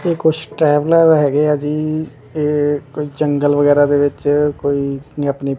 ਤੇ ਕੁਛ ਟਰੈਵਲਰ ਹੈਗੇ ਆ ਜੀ ਇਹ ਕੋਈ ਜੰਗਲ ਵਗੈਰਾ ਦੇ ਵਿੱਚ ਕੋਈ ਆਪਣੀ --